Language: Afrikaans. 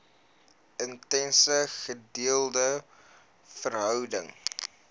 intense gedeelde verhouding